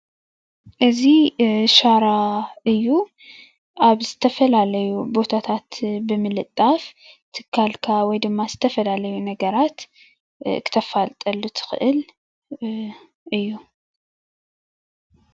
እዚ ሻራ እዩ ኣብ ዝተፈላለዩ ቦታታት ብምልጣፍ ትካልካ ወይ ድማ ዝተፈላለዩ ነገራት ክተፋልጠሉ ትክእል እዩ፡፡